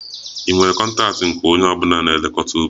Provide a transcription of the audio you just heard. Ị nwere kọntaktị nke onye ọ bụla na-elekọta ubi?